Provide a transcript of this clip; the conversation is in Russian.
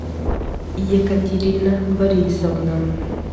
екатерина борисовна